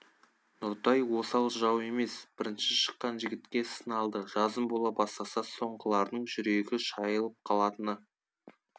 нұртай осал жау емес бірінші шыққан жігітке сын алды жазым бола бастаса соңғылардың жүрегі шайылып қалатыны